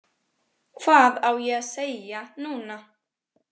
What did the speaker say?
Hvað á ég að segja núna?